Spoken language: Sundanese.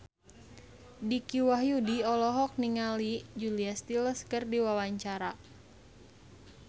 Dicky Wahyudi olohok ningali Julia Stiles keur diwawancara